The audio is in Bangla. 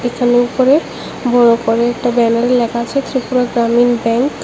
এখানে উপরে বড় করে একটা ব্যানারে লেখা আছে ত্রিপুরা গ্রামীণ ব্যাংক ।